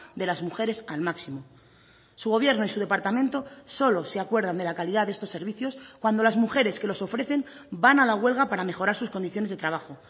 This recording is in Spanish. de las mujeres al máximo su gobierno y su departamento solo se acuerdan de la calidad de estos servicios cuando las mujeres que los ofrecen van a la huelga para mejorar sus condiciones de trabajo